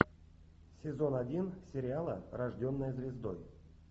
сезон один сериала рожденная звездой